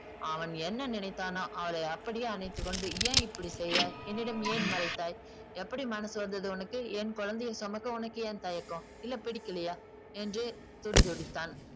அவன் என்ன நினைத்தானோ அவளை அப்படியே அணைத்துக்கொண்டு ஏன் இப்படி செய்தாய் என்னிடம் ஏன் மறைத்தாய் எப்படி மனசு வந்தது உனக்கு என் குழந்தையை சுமக்க உனக்கு ஏன் தயக்கம் இல்லை பிடிக்கலையா என்று துடிதுடித்தான்